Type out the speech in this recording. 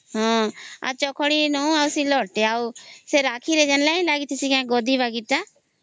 ହଁ ଆଉ ଚକ ଖଡ଼ି ଟେ ଆଉ ସିଲଟ ଟେ ସେ ରାକ୍ଷୀ ରେ ଯେମିତି ଗୋଟେ ଲାଗିଛି ଗଦ୍ଦି ବାଗୀ ର ଟା ହଁ